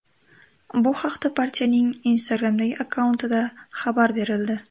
Bu haqda partiyaning Instagram’dagi akkauntida xabar berildi .